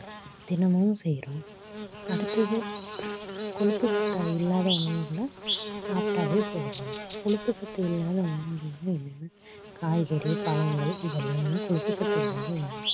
தினமும் செய்றோம் அடுத்தது கொழுப்புச்சத்தா இல்லாத உணவுகளை சாப்பிட்டாவே போதும் கொழுப்பு சத்து இல்லாத உணவுகள்னா என்னென்ன காய்கறி பழங்கள் இதெல்லாம் தான் கொழுப்பு சத்து இல்லாத உணவு